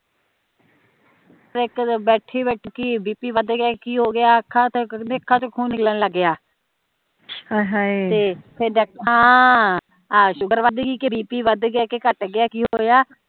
ਇਕ ਦਿਨ ਬੈਠੀ ਬੈਠੀ BP ਵੱਧ ਗਿਆ ਕਿ ਹੋਗਿਆ ਅੱਖਾਂ ਕਹਿੰਦੇ ਅੱਖਾਂ ਤੇ ਖੂਨ ਨਿਕਲਣ ਲਗ ਗਿਆ ਹਾਂ ਪਤਾ ਨੀ ਸ਼ੂਗਰ ਵੱਧ ਗਈ ਕੇ BP ਵੱਧ ਗਿਆ ਕੇ ਕੱਟ ਗਿਆ ਕਿ ਹੋਇਆ